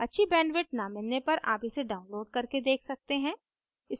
अच्छी bandwidth न मिलने पर आप इसे download करके देख सकते हैं